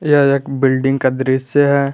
यह एक बिल्डिंग का दृश्य है।